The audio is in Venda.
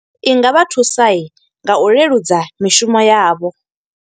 I nga vha thusa, nga u leludza mishumo yavho.